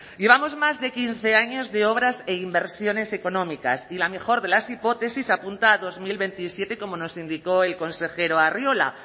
llevamos más de quince años de obras e inversiones económicas y la mejor de las hipótesis apunta a dos mil veintisiete como nos indicó el consejero arriola